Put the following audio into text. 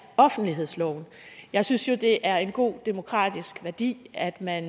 offentlighedsloven jeg synes jo det er en god demokratisk værdi at man